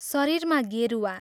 शरीरमा गेरुवा।